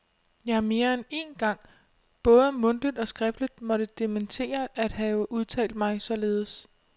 Jeg har mere end én gang både mundtligt og skriftligt måtte dementere at have udtalt mig således.